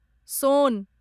सोन